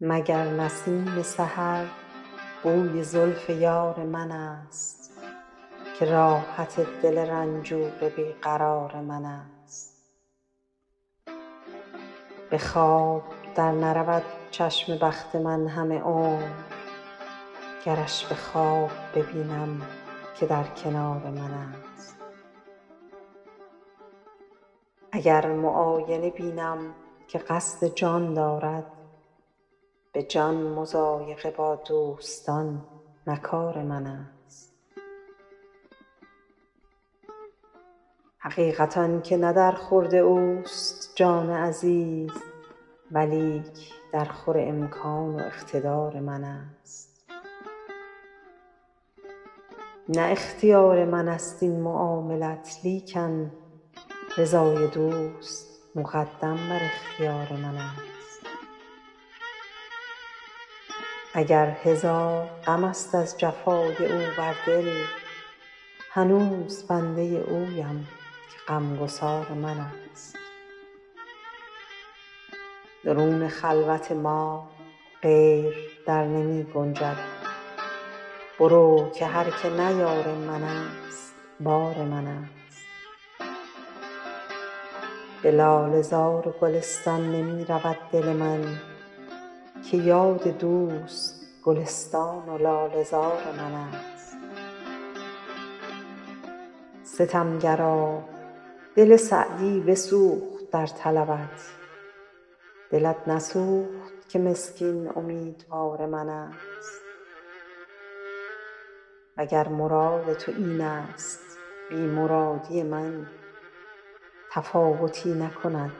مگر نسیم سحر بوی زلف یار منست که راحت دل رنجور بی قرار منست به خواب در نرود چشم بخت من همه عمر گرش به خواب ببینم که در کنار منست اگر معاینه بینم که قصد جان دارد به جان مضایقه با دوستان نه کار منست حقیقت آن که نه در خورد اوست جان عزیز ولیک درخور امکان و اقتدار منست نه اختیار منست این معاملت لیکن رضای دوست مقدم بر اختیار منست اگر هزار غمست از جفای او بر دل هنوز بنده اویم که غمگسار منست درون خلوت ما غیر در نمی گنجد برو که هر که نه یار منست بار منست به لاله زار و گلستان نمی رود دل من که یاد دوست گلستان و لاله زار منست ستمگرا دل سعدی بسوخت در طلبت دلت نسوخت که مسکین امیدوار منست و گر مراد تو اینست بی مرادی من تفاوتی نکند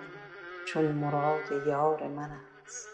چون مراد یار منست